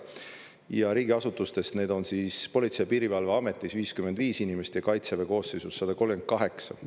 Ja riigiasutustest need on Politsei- ja Piirivalveametis 55 inimest ja Kaitseväe koosseisus 138.